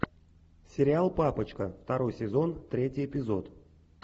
сериал папочка второй сезон третий эпизод